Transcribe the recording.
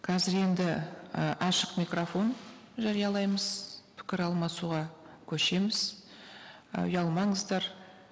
қазір енді і ашық микрофон жариялаймыз пікір алмасуға көшеміз і ұялмаңыздар